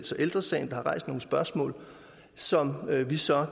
så ældre sagen kan rejse nogle spørgsmål som vi så